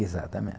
Exatamente.